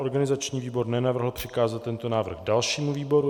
Organizační výbor nenavrhl přikázat tento návrh dalšímu výboru.